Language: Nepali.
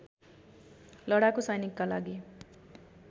लडाकु सैनिकका लागि